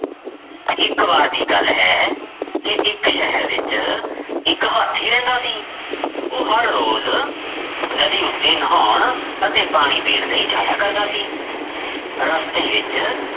ਇੱਕ ਵਾਰ ਦੀ ਗੱਲ ਹੈ ਕਿ ਇੱਕ ਸ਼ਹਿਰ ਵਿੱਚ ਇੱਕ ਹਾਥੀ ਰਹਿੰਦਾ ਸੀ ਉਹ ਹਰ ਰੋਜ਼ ਨਦੀ ਉੱਤੇ ਨਹਾਉਣ ਅਤੇ ਪਾਣੀ ਪੀਣ ਲਈ ਜਾਇਆ ਕਰਦਾ ਸੀ, ਰਸਤੇ ਵਿੱਚ